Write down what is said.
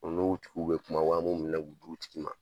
O N'u tigiw bɛ kuma wa o minɛ k'u d'i o tigi ma.